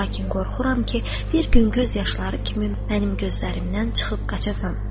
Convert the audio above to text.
Lakin qorxuram ki, bir gün göz yaşları kimi mənim gözlərimdən çıxıb qaçasan.